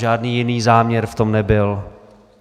Žádný jiný záměr v tom nebyl.